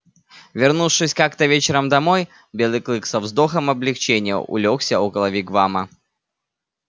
вернувшись как то вечером домой белый клык со вздохом облегчения улёгся около вигвама